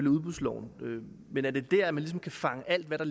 udbudsloven men er det der at man ligesom kan feje alt hvad der